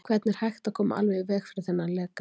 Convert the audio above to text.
Hvernig er hægt að koma alveg í veg fyrir þennan leka?